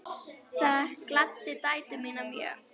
Það gladdi dætur mínar mjög.